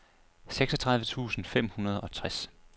seksogtredive tusind fem hundrede og tres